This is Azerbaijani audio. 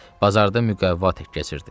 Bazarda müqəvva tək keçirdi.